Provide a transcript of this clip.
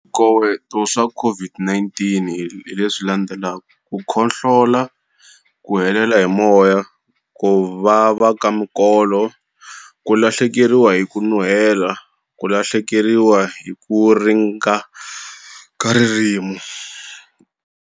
Swikoweto swa COVID-19 hi leswi landzelaka. Ku khohlola, ku hela hi moya, ku vava ka minkolo ku lahlekeriwa hi ku nuhela, ku lahlekeriwa hi ku ringana ka ririmi.